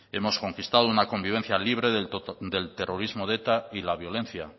hemos conquistado una convivencia libre del terrorismo de eta y la violencia